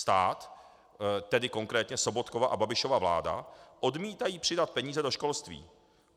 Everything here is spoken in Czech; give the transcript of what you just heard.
Stát, tedy konkrétně Sobotkova a Babišova vláda, odmítá přidat peníze do školství.